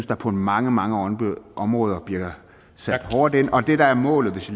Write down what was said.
der på mange mange områder bliver sat hårdt ind og det der er målet hvis